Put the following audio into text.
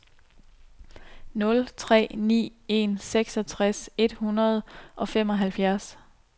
nul tre ni en seksogtres et hundrede og femoghalvfjerds